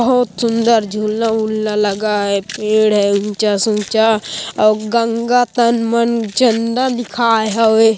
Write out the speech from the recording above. बहोत सुन्दर झूला वूला लगा है पेड़ है ऊंचा से ऊंचा और गंगा तन मन चंदन लिखाए हबे।